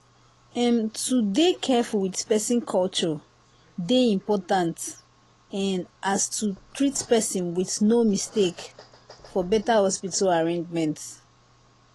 em to dey careful with person culture dey important en as to treat person with no mistake for better hospital arrangement.